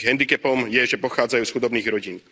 Ich hendikepom je, že pochádzajú z chudobných rodín.